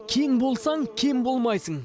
кең болсаң кем болмайсың